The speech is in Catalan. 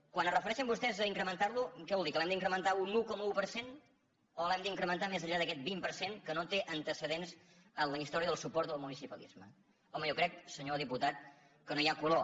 quan es refereixen vostès a incrementar lo què vol dir que l’hem d’incrementar un un coma un per cent o l’hem d’incrementar més enllà d’aquest vint per cent que no té antecedents en la història del suport del municipalisme home jo crec senyor diputat que no hi ha color